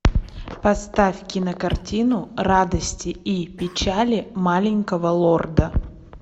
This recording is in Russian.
поставь кинокартину радости и печали маленького лорда